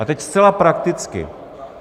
A teď zcela prakticky.